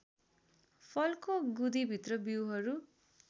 फलको गुदीभित्र बीउहरू